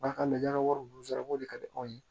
Ba ka lakaw sara ko de ka di anw ye